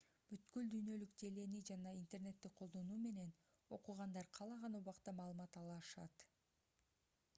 бүткүл дүйнөлүк желени жана интернетти колдонуу менен окугандар каалаган убакта маалымат ала алышат